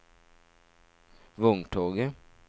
vogntoget